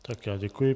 Tak já děkuji.